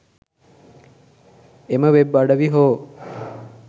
එම වෙබ් අඩවි හෝ